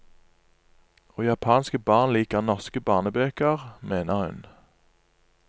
Og japanske barn liker norske barnebøker, mener hun.